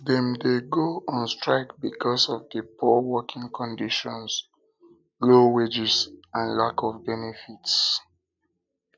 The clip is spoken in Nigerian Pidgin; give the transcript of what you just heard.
dem dey go on strike because of di poor working conditions low wages and lack of benefits